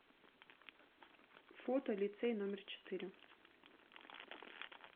фото лицей номер четыре